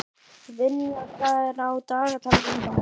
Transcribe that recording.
Vinjar, hvað er á dagatalinu í dag?